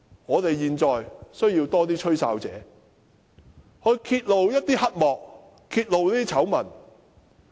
我們現在需要更多"吹哨者"揭露黑幕和醜聞。